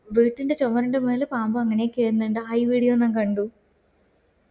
വെട്ടിന്റെ ചൊമാരിന്റെ മേളിൽ പാമ്പ് അങ്ങനെ കേറുന്ന്ണ്ട് ഐ video ന്നും കണ്ടു